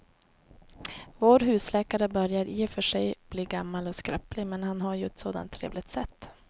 Vår husläkare börjar i och för sig bli gammal och skröplig, men han har ju ett sådant trevligt sätt!